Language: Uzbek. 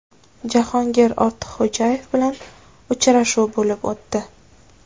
Jahongir Ortiqxo‘jayev bilan uchrashuv bo‘lib o‘tdi.